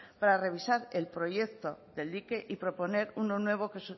para revisar el proyecto del dique y proponer uno nuevo que